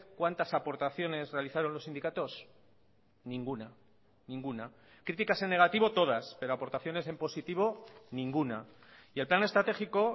cuántas aportaciones realizaron los sindicatos ninguna ninguna críticas en negativo todas pero aportaciones en positivo ninguna y el plan estratégico